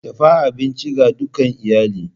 Dafa abinci ga dukan iyali!